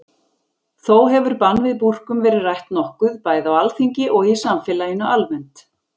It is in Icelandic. Þó hefur bann við búrkum verið rætt nokkuð, bæði á Alþingi og í samfélaginu almennt.